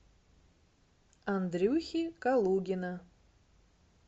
андрюхи калугина